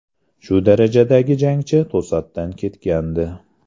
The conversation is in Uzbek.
Shu darajadagi jangchi to‘satdan ketgandi.